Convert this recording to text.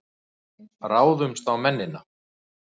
Ráðumst á mennina!